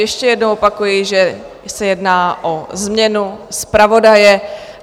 Ještě jednou opakuji, že se jedná o změnu zpravodaje.